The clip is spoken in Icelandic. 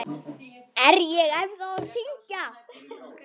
Er ég ennþá að syngja?